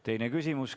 Teine küsimus.